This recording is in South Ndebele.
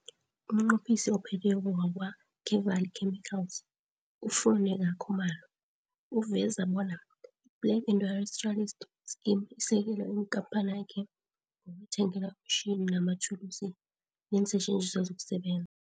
UmNqophisi oPhetheko wa kwa-Kevali Chemicals, uFuneka Khumalo uveza bona i-Black Industrialist Scheme isekele ikampanakhe ngokuyithengela imitjhini amathulusi neensetjenziswa zokuseben